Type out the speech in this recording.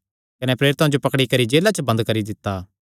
कने प्रेरितां जो पकड़ी करी जेला च बंद करी दित्ता